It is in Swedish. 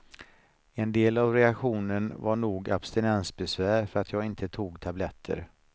En del av reaktionen var nog abstinensbesvär för att jag inte tog tabletter.